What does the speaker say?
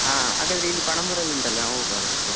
ಹ ಹಾಗಾದ್ರೆ ಇಲ್ಲಿ Panambur ಲ್ಲಿ ಉಂಟಲ್ಲ ನಾವ್ ಹೋಗುವ ಹಾಗಾದ್ರೆ.